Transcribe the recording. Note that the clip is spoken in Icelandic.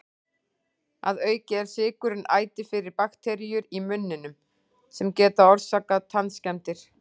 Að auki er sykurinn æti fyrir bakteríur í munninum, sem geta orsakað tannskemmdir.